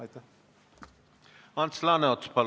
Ants Laaneots, palun!